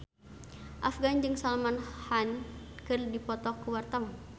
Afgan jeung Salman Khan keur dipoto ku wartawan